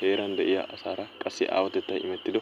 Heeraan de'iya asaara qassi aawatettay immettiddo